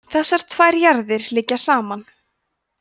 þessar tvær jarðir liggja saman